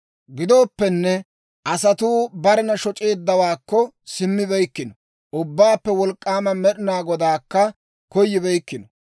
Gidooppenne, asatuu barena shoc'eeddawaakko simmibeykkino; Ubbaappe Wolk'k'aama Med'inaa Godaakka koyibeykkino.